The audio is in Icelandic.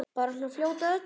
Bara svona fljót að öllu.